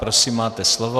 Prosím, máte slovo.